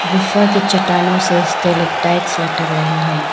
गुफा के चट्टानों से लटक रहे हैं।